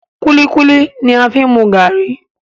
Kulikuli ni a fi n mu garri.